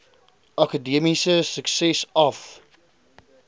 akademiese sukses af